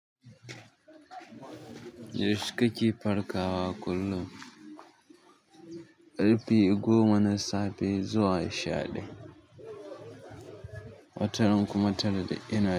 Yaushe kake farkawa kullum? Ƙarfe goma na safe zuwa sha ɗaya, wataran kuma tara.